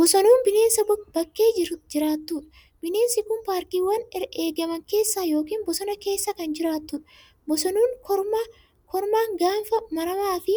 Bosonuun bineensa bakkee jiraatudha. Bineensi kun paarkiiwwan eegaman keessa yookiin bosona keessa kan jiraatudha. Bosonuun kormaan gaanfa maramaa fi